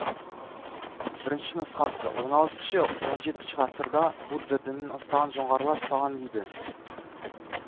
бірінші нұсқасы он алтыншы он жетінші ғасырда будда дінін ұстаған жоңғарлар салған дейді